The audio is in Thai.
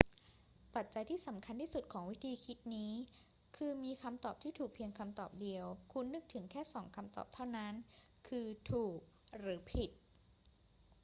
ปัจจัยที่สำคัญที่สุดของวิธีคิดนี้คือมีคำตอบที่ถูกเพียงคำตอบเดียว คุณนึกถึงแค่สองคำตอบเท่านั้น คือถูกหรือผิด